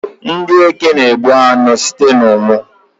Ndị Eke na-egbu anụ ha site n'ụnwụ